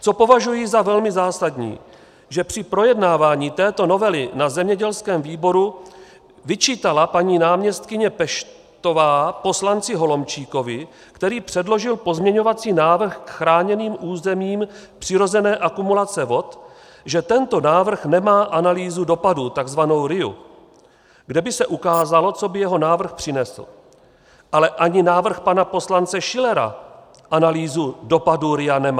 Co považuji za velmi zásadní, že při projednávání této novely na zemědělském výboru vyčítala paní náměstkyně Peštová poslanci Holomčíkovi, který předložil pozměňovací návrh k chráněným územím přirozené akumulace vod, že tento návrh nemá analýzu dopadů, tzv. RIA, kde by se ukázalo, co by jeho návrh přinesl, ale ani návrh pana poslance Schillera analýzu dopadu RIA nemá.